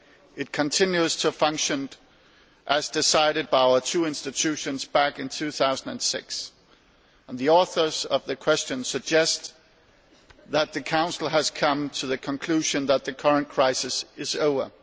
It continues to function as decided by our two institutions back in 2006, and the authors of the questions suggest that the Council has come to the conclusion that the current crisis is over.